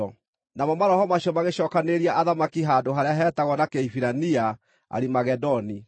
Namo maroho macio magĩcookanĩrĩria athamaki handũ harĩa hetagwo na Kĩhibirania, Arimagedoni.